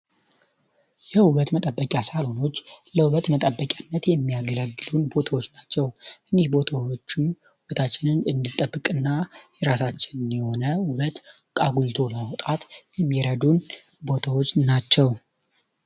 የውበት መጠበቂያ ሳሎኖች ለውበት መጠበቂነት የሚያገለግሉን ቦታዎች ናቸው። ይኚህ ቦታዎችም ውበታችንን እንዲጠብቅና የራሳቸውን የሆነ ውበት አጉልቶ ለማውጣት የሚረዱን ቦታዎች ናቸው።